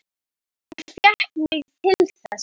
Hún fékk mig til þess!